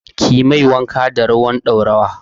Kiyi mai wanka da ruwan ɗaurawa.